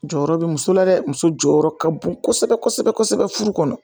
Jɔyɔrɔ bɛ muso la dɛ musokɔrɔ ka bon kosɛbɛ kosɛbɛ furu kɔnɔ